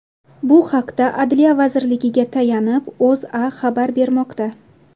Bu haqda Adliya vazirligiga tayanib, O‘zA xabar bermoqda .